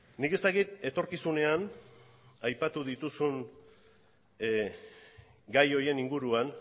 nik ez dakit etorkizunean aipatu dituzun gai horien inguruan